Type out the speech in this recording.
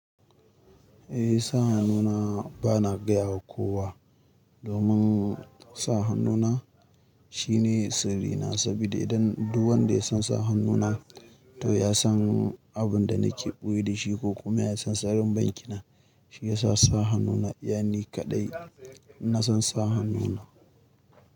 Eh sa hannuna bana gaya wa kowa domin sa hannuna shine sirrina. Saboda idan duk wanda ya son sa hannuna to ya san abin da nake ɓoye da shi ko kuma ya san tsarin banki na, shi ya sa sa hannuna. Yani kaɗai na san sa hannuna.